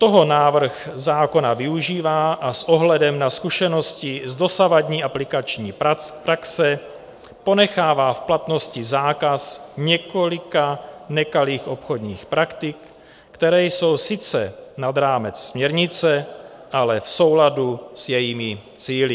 Toho návrh zákona využívá a s ohledem na zkušenosti z dosavadní aplikační praxe ponechává v platnosti zákaz několika nekalých obchodních praktik, které jsou sice nad rámec směrnice, ale v souladu s jejími cíli.